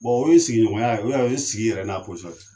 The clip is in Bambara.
Bon o ye sigiɲɔgɔnya ye o ye sigi yɛrɛ n'a